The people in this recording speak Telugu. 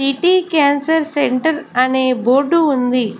సిటీ క్యాన్సర్ సెంటర్ అనే బోర్డు ఉంది.